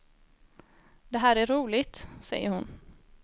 Det här är roligt, säger hon.